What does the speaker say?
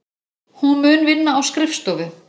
Hún mun vinna á skrifstofu.